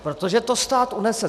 Protože to stát unese.